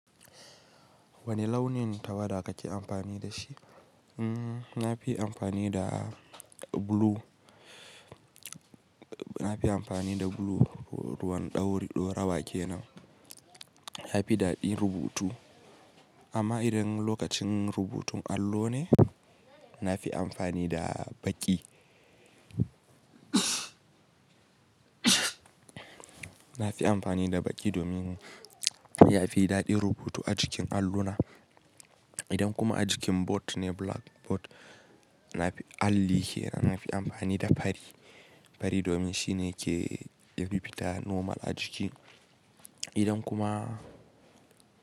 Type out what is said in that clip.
Wane launin tawada ka ke amfani da shi? Hmm, na fi amfani da blue. Na fi amfani da blue ruwan ɗauri, ɗo rawa ke nan. Ya fi daɗi rubutu. Amma idan lokacin rubutun allo ne, na fi amfani da baƙi. Na fi amfani da baƙi domin ya fi daɗi rubutu a jikin alluna. Idan kuma a jikin board ne, blackboard na alli ke nan, na fi amfani da fari. Fari domin shi ne ke bibita normal a jiki. Idan kuma.